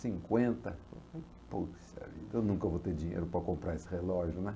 cinquenta. Puxa vida, eu nunca vou ter dinheiro para comprar esse relógio, né?